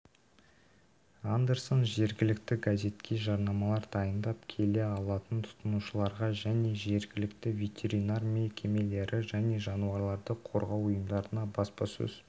андерсон жергілікті газетке жарнамалар дайындап келе алатын тұтынушыларға және жергілікті ветеринар мекемелері мен жануарларды қорғау ұйымдарына баспасөз